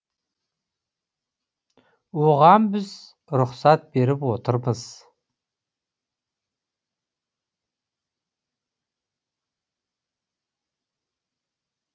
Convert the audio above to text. оған біз рұқсат беріп отырмыз